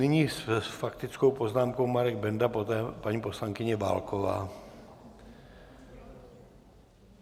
Nyní s faktickou poznámkou Marek Benda, poté paní poslankyně Válková.